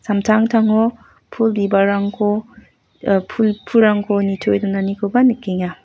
samtangtango pul bibalrangko ah pul-pulrangko nitoe donanikoba nikenga.